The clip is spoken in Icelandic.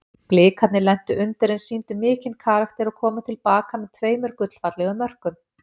Blikarnir lentu undir en sýndu mikinn karakter og komu til baka með tveimur gullfallegum mörkum.